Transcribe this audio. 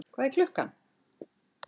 Hvað er klukkan?